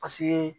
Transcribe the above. Paseke